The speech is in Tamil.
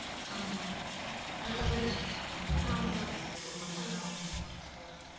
ஆமாம் traffic நிறைய இருக்கும், போக முடியாது. ரொம்ப நேரம் ஆகும், போறதுக்கு வர்றதுக்கு